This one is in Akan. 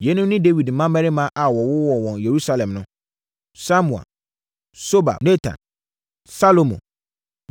Yeinom ne Dawid mmammarima a wɔwowoo wɔn wɔ Yerusalem no: Samua, Sobab, Natan, Salomo